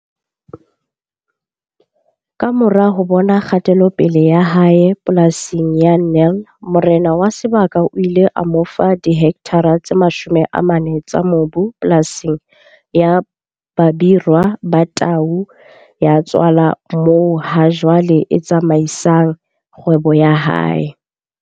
Kamora ho bona kgatelopele ya hae polasing ya Nel morena wa sebaka o ile a mo fa dihektare tse 40 tsa mobu polasing ya Babirwa Ba Tau Ya Tswala moo hajwale a tsamaisang kgwebo ya hae.